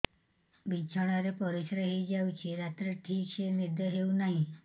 ବିଛଣା ରେ ପରିଶ୍ରା ହେଇ ଯାଉଛି ରାତିରେ ଠିକ ସେ ନିଦ ହେଉନାହିଁ